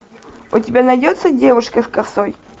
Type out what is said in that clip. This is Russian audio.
у тебя найдется девушка с косой